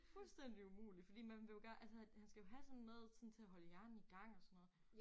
Fuldstændig umuligt fordi man vil jo gerne altså han skal jo have sådan noget sådan til at holde hjernen i gang og sådan noget